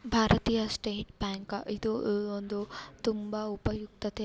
ಭಾರತೀಯ state bank ಇದು ಒಂದು ಉಪಯುಕ್ತತೆ ಹಾಗೂ ತುಂಬಾ ಎಚ್ಚರಿಕೆ ಇಂದ --